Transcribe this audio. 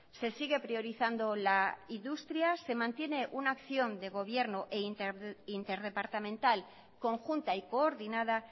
se sigue priorizando la industria se mantiene una acción de gobierno e interdepartamental conjunta y coordinada